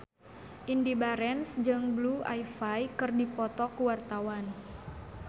Indy Barens jeung Blue Ivy keur dipoto ku wartawan